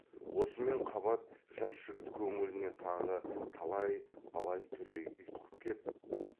осымен қабат жас жігіт көңіліне тағы талай алай түлей ұйтқып кеп